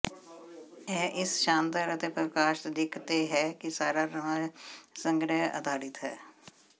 ਇਹ ਇਸ ਸ਼ਾਨਦਾਰ ਅਤੇ ਪ੍ਰਕਾਸ਼ਤ ਦਿੱਖ ਤੇ ਹੈ ਕਿ ਸਾਰਾ ਨਵਾਂ ਸੰਗ੍ਰਹਿ ਆਧਾਰਿਤ ਹੈ